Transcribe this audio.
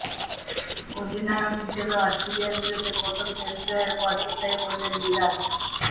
অধিনায়ক হিসেবে অস্ট্রেলিয়ার বিরুদ্ধে প্রথম টেস্ট জয়ের পর এটাই বললেন বিরাট